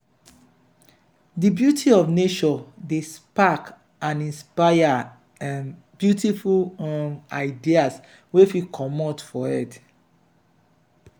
di beauty of nature dey spark and inspire um beautiful um ideas wey fit comot for head.